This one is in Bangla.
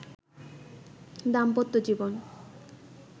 দাম্পত্য জীবন